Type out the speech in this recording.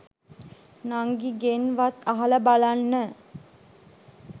නංගිගෙන් වත් අහල බලන්න.